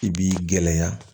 I b'i gɛlɛya